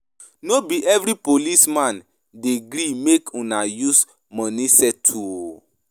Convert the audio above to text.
No be every policeman dey gree make una use money settle o.